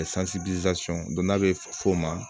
don n'a bɛ fɔ o ma